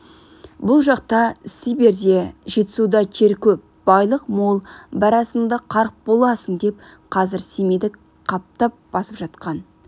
бұл жақта сибирьде жетісуда жер көп байлық мол барасың да қарық боласың деп қазір семейді қаптап басып жатқан